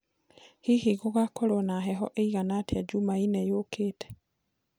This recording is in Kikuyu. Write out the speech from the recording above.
hĩhĩ gugakorwo na heho iigana atĩa jumaĩne yukite